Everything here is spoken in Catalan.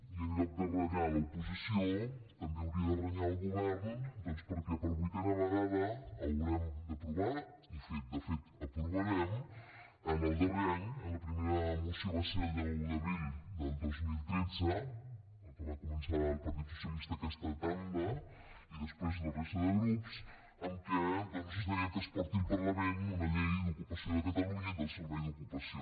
i en lloc de renyar l’oposició també hauria de renyar el govern doncs perquè per vuitena vegada haurem d’aprovar i de fet aprovarem en el darrer any la primera moció va ser el deu d’abril del dos mil tretze la que va començar el partit socialista aquesta tanda i després la resta de grups amb què doncs es deia que es porti al parlament una llei d’ocupació de catalunya i del servei d’ocupació